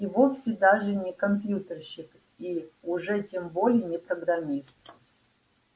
и вовсе даже не компьютерщик и уж тем более не программист